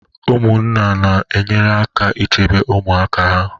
Ụmụnna na-enyere aka ichebe ụmụaka ha